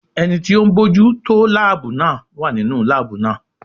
Ẹni tí ń bójú tó láàbù náà wà nínú láàbù náà.